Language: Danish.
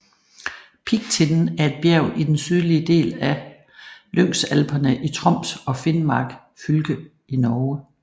Piggtinden er et bjerg i den sydlige del af Lyngsalperne i Troms og Finnmark fylke i Norge